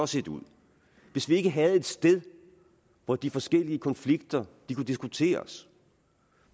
set ud hvis vi ikke havde et sted hvor de forskellige konflikter kunne diskuteres